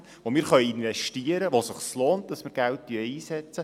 Dort können wir investieren, und es lohnt sich, Geld dafür einzusetzen.